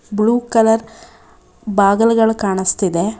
Blue colour ಬಾಗಲ್ಗಳ ಕಾಣಿಸ್ತಿದೆ.